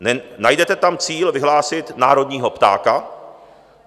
Najdete tam cíl vyhlásit národního ptáka.